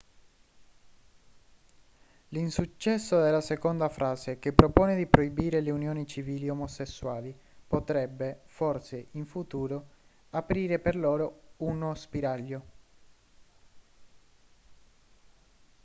l'insuccesso della seconda frase che propone di proibire le unioni civili omosessuali potrebbe forse in futuro aprire per loro uno spiraglio